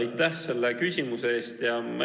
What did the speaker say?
Aitäh selle küsimuse eest!